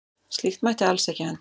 Slíkt mætti alls ekki henda.